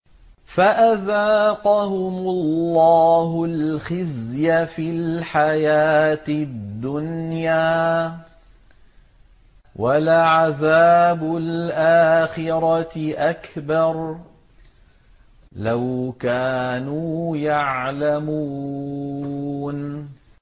فَأَذَاقَهُمُ اللَّهُ الْخِزْيَ فِي الْحَيَاةِ الدُّنْيَا ۖ وَلَعَذَابُ الْآخِرَةِ أَكْبَرُ ۚ لَوْ كَانُوا يَعْلَمُونَ